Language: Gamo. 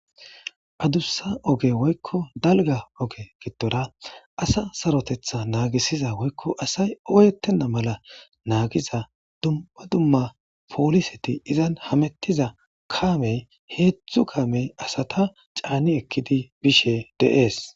Adussa oge woykko dalga oge gitora asa sarotetha naagisiza woykko asay oyettenna mala naagiza dumma dumma pooliseti izan hamettiza kaamey heedzdzu kaamey asata caanni ekkidi bishe deees.